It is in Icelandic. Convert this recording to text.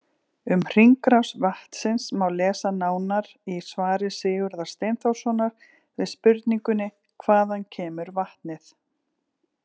Um hringrás vatnsins má lesa nánar í svari Sigurðar Steinþórssonar við spurningunni Hvaðan kemur vatnið?